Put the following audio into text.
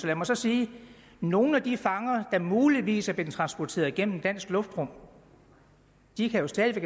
lad mig så sige at nogle af de fanger der muligvis er blevet transporteret gennem dansk luftrum jo stadig